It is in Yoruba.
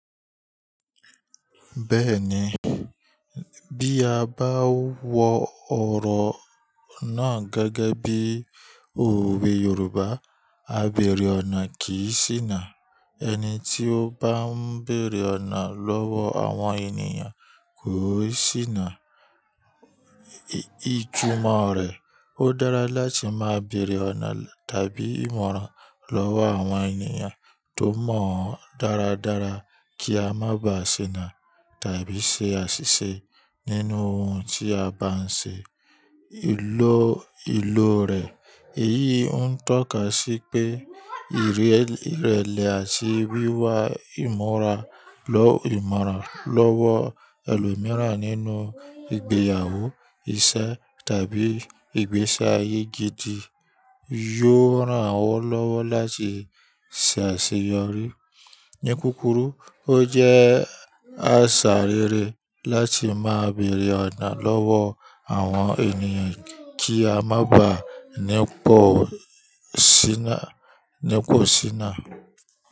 Bẹ́ẹ̀ni, bí a bá wo ọ̀rọ̀ náà gẹ́gẹ́ bí òwe Yorùbá, "Àbẹ̀rẹ̀ ọ̀nà kì í ṣìnà." Ẹni tí ó bá ń bèrè ọ̀nà lọ́wọ́ àwọn ènìyàn kò ṣìnà ìtumọ̀ rẹ̀. Ó dára láti má bèrè ọ̀nà tàbí ìmọ̀ràn lọ́wọ́ àwọn ènìyàn tó mọ̀ ọ́n dáradára kí a má ba à ṣìnà tàbí ṣe àṣìṣe nínú ohun tí a bá ń ṣe. Èyí ń tọ́ka sí pé ìrẹ̀lẹ̀ àti wíwa ìmọ̀ràn lọ́wọ́ ẹlòmíràn nínú ìgbéyàwó, ìṣe tàbí ìgbésí ayé gidi yóò ràn o lọ́wọ́ láti ṣe àṣeyọrí. Ní kúkúrú, ó jẹ́ àṣà rere láti má bèrè ọ̀nà lọ́wọ́ àwọn ènìyàn kí a má ba à ní pọ̀ sí náà.